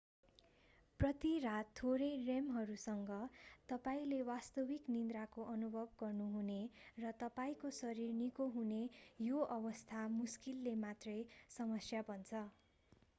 प्रति रात थोरै rem हरूसँग तपाईंले वास्तविक निन्द्राको अनुभव गर्नुहने र तपाईंको शरीर निको हुने यो अवस्था मुश्किलले मात्रै समस्या बन्छ